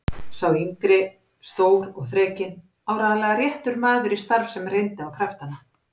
Sá yngri stór og þrekinn, áreiðanlega réttur maður í starf sem reyndi á kraftana.